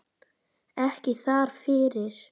Ekki þar fyrir.